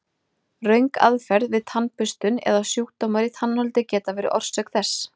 Röng aðferð við tannburstun eða sjúkdómar í tannholdi geta verið orsök þess.